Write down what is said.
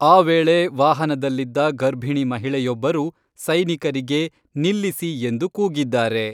ಆ ವೇಳೆ ವಾಹನದಲ್ಲಿದ್ದ ಗರ್ಭಿಣಿ ಮಹಿಳೆಯೊಬ್ಬರು ಸೈನಿಕರಿಗೆ ನಿಲ್ಲಿಸಿ ಎಂದು ಕೂಗಿದ್ದಾರೆ.